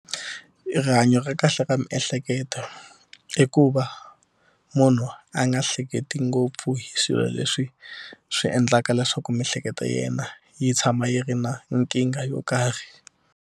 Rihanyo ra kahle ra miehleketo i ku va munhu a nga hleketi ngopfu hi swilo leswi swi endlaka leswaku miehleketo ya yena yi tshama yi ri na nkingha yo karhi.